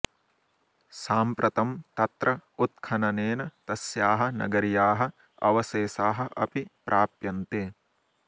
साम्प्रतं तत्र उत्खननेन तस्याः नगर्याः अवशेषाः अपि प्राप्यन्ते